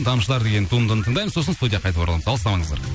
тамшылар деген туындыны тыңдаймыз сосын студияға қайта ораламыз алыстамаңыздар